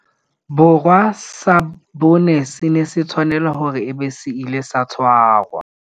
Borwa sa bone se ne se tshwanela hore e be se ile sa tshwarwa.